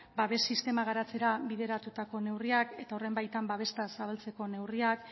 babes sistema garatzera bideratutako neurriak eta horren baitan babes zabaltzeko neurriak